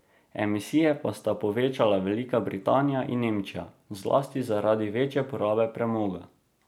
Emisije pa sta povečali Velika Britanija in Nemčija, zlasti zaradi večje porabe premoga.